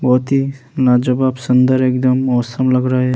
बोहोत ही नजवाब सुन्दर एकदम मौसम लग रहा हे ।